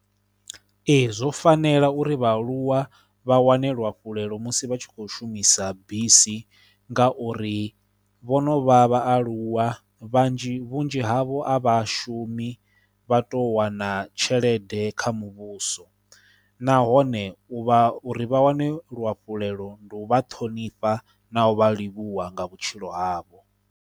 Ee zwo fanela uri vhaaluwa vha wane luafhulelo musi vha tshi kho shumisa bisi ngauri vho no vha vhaaluwa vhanzhi, vhunzhi havho a vha shumi vha tou wana tshelede kha muvhuso nahone u vha, uri vha wane luafhulelo ndi u vha ṱhonifha na u vha livhuwa nga vhutshilo havho.